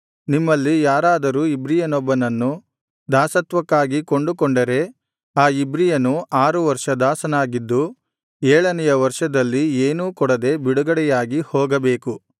ನಿಮ್ಮಲ್ಲಿ ಯಾರಾದರೂ ಇಬ್ರಿಯನೊಬ್ಬನನ್ನು ದಾಸತ್ವಕ್ಕಾಗಿ ಕೊಂಡುಕೊಂಡರೆ ಆ ಇಬ್ರಿಯನು ಆರು ವರ್ಷ ದಾಸನಾಗಿದ್ದು ಏಳನೆಯ ವರ್ಷದಲ್ಲಿ ಏನೂ ಕೊಡದೆ ಬಿಡುಗಡೆಯಾಗಿ ಹೋಗಬೇಕು